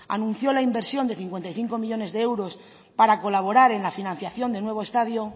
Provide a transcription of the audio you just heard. anunció la inversión de cincuenta y cinco millónes de euros para colaborar en la financiación del nuevo estadio